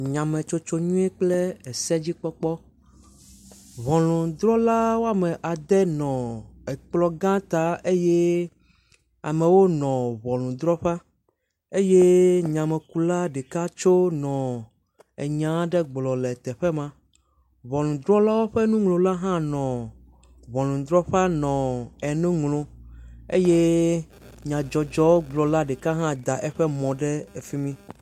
Nyametsotsonyuie kple esedzikpɔkpɔ, ŋunudrɔla woama ɖe nɔ ekplɔ gã ta eye amewo nɔ ŋunufrɔƒa eye nyemekula ɖeka tso nɔ enya aɖe gblɔm le teƒe ma. Ŋunudrɔlawo ƒe nuŋlɔla hã nɔ ŋunudrɔƒa nu enu ŋlɔm eye nyadzɔdzɔgblɔ la ɖeka hã da eƒe mɔ ɖe efi mi.